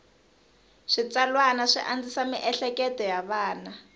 switsalwana swi andzisa mieleketo ya vana